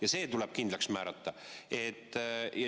Ja see tuleb kindlaks määrata.